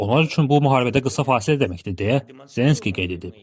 Onlar üçün bu müharibədə qısa fasilə deməkdir deyə Zelenski qeyd edib.